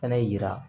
Fɛnɛ yira